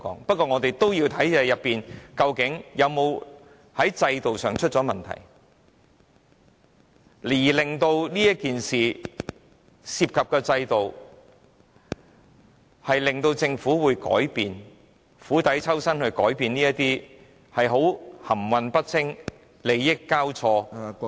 不過我們也要看看制度是否出了問題，令政府改變這件事情所涉及的制度，釜底抽薪，改變這種含混不清、利益交錯......